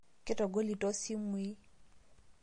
Ketogolito simui